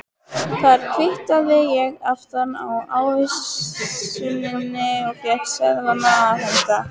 Þar kvittaði ég aftan á ávísunina og fékk seðlana afhenta.